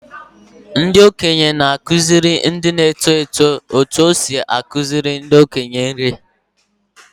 Ndị okenye na-akụziri ndị na-eto eto otú e si ekele ndị okenye ha.